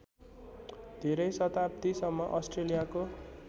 धेरै शताब्दीसम्म अस्ट्रेलियाको